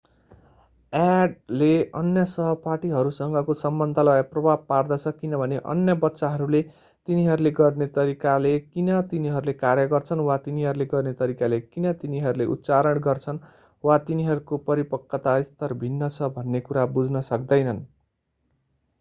addले अन्य सहपाठीहरूसँगको सम्बन्धलाई प्रभाव पार्दछ किनभने अन्य बच्चाहरूले तिनीहरूले गर्ने तरिकाले किन तिनीहरूले कार्य गर्छन् वा तिनीहरूले गर्ने तरिकाले किन तिनीहरूले उच्चारण गर्छन् वा तिनीहरूको परिपक्वता स्तर भिन्न छ भन्ने कुरा बुझ्न सक्दैनन्।